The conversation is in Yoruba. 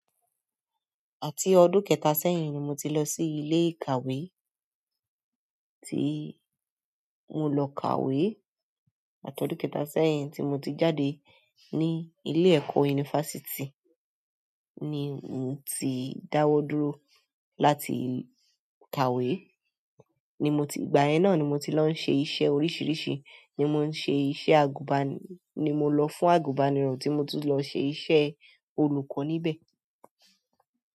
Àti ọdún kẹta sẹ́yìn ni mo ti lọ sí ilé ìkàwé tí mo lọ kàwé. Àti ọdún kẹta sẹ́yìn tí mo ti jáde ní ilé ẹ̀kọ́ yunifásítì ni mo ti dáwọ́ dúró láti kàwé. Ni moti, ìgbà yẹn náà ni mo ti ń lọ ṣe iṣẹ́ oríṣiríṣi ni mo ṣe iṣẹ́ àgùnbánirọ̀, ni mo lọ fún àgùnbánirọ̀ tí mo tún lọ ṣe iṣẹ́ olùkọ́ ni bẹ̀.